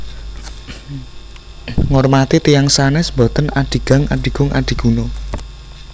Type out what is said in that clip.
Ngormati tiyang sanes boten adigang adigung adiguna